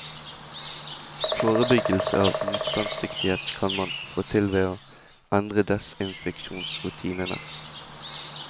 Forebyggelse av motstandsdyktighet kan man få til ved å endre desinfeksjonsrutinene.